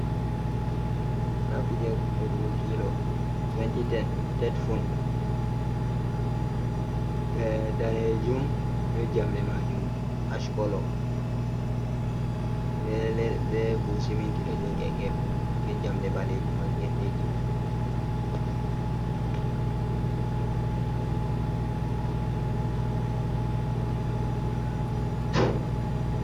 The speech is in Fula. Ndaa kuuje "godugo kilo 2010 tet fun" ɓe dalejum bee jamɗe maajum "ashkolo" bee buhu siminti ɗo jooɗi ha geefe maajum bee jamɗe ɓaleejum ha feereeji maajum.